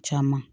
Caman